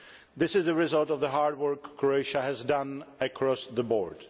This is the result of the hard work Croatia has done across the board.